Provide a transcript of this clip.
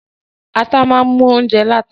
Ata máa mú óunjẹ láta.